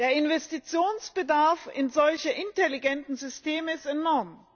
Der Investitionsbedarf in solche intelligenten Systeme ist enorm.